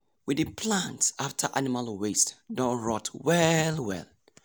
we dey plant after animal waste don rot well well.